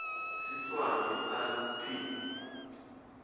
siswati sal p